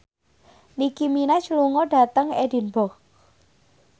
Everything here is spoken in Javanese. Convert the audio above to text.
Nicky Minaj lunga dhateng Edinburgh